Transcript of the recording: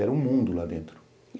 Era um mundo lá dentro.